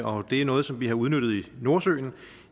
og det er noget som vi har udnyttet i nordsøen